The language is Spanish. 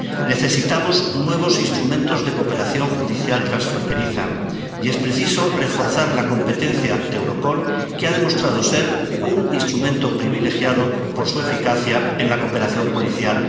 Necesitamos nuevos instrumentos de cooperación judicial transfronteriza y es preciso reforzar la competencia de Europol, que ha demostrado ser un instrumento privilegiado por su eficacia en la cooperación policial.